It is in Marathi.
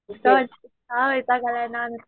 इतका वैताग आलाय ना नुसता